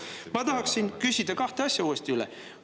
Ma tahaksin kahte asja üle küsida.